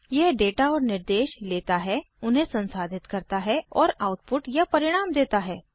यह डेटा और निर्देश लेता है उन्हें संसाधित करता है और आउटपुट या परिणाम देता है